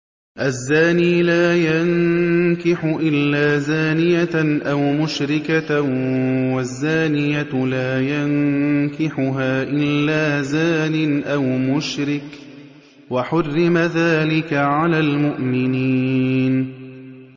الزَّانِي لَا يَنكِحُ إِلَّا زَانِيَةً أَوْ مُشْرِكَةً وَالزَّانِيَةُ لَا يَنكِحُهَا إِلَّا زَانٍ أَوْ مُشْرِكٌ ۚ وَحُرِّمَ ذَٰلِكَ عَلَى الْمُؤْمِنِينَ